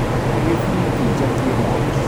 he gĩbiriti njakie mwaki?